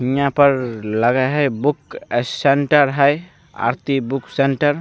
यहाँ पर लगे हेय बुक सेंटर हेय आरती बुक सेंटर --